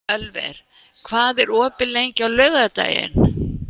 Ölver, hvað er opið lengi á laugardaginn?